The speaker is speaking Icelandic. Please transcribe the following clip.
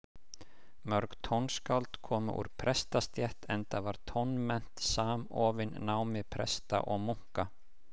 Mörg tónskáld komu úr prestastétt, enda var tónmennt samofin námi presta og munka.